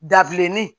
Dabileni